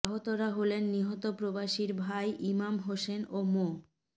আহতরা হলেন নিহত প্রবাসীর ভাই ইমাম হোসেন ও মো